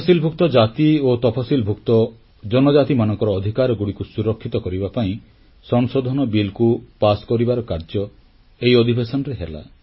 ତଫସିଲଭୁକ୍ତ ଜାତି ଓ ତଫସିଲଭୁକ୍ତ ଜନଜାତିମାନଙ୍କର ଅଧିକାରଗୁଡ଼ିକୁ ସୁରକ୍ଷିତ କରିବା ପାଇଁ ସଂଶୋଧନ ବିଲ୍ କୁ ପାସ କରିବାର କାର୍ଯ୍ୟ ଏହି ଅଧିବେଶନରେ ହେଲା